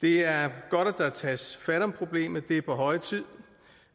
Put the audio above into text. det er godt at der tages fat om problemet det er på høje tid